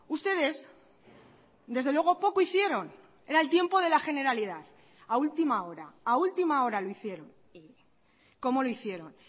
ustedes desde luego poco hicieron era el tiempo de la generalidad a última hora a última hora lo hicieron y cómo lo hicieron